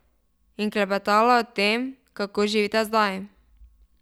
In klepetala o tem, kako živita zdaj.